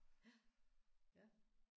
Ja ja